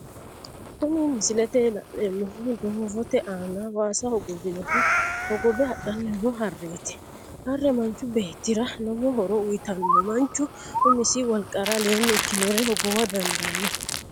Kuni misilete la'neemohu doovote aana waasa hogowunni hogobe hadhanni noo hareeti, hare machu beetira lowo horo uuyitano manchu umisi woliqara aleeni ikkinore hogowa dandano